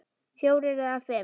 Fjórir eða fimm!